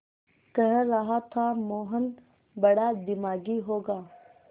कह रहा था मोहन बड़ा दिमागी होगा